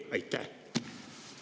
Aitäh!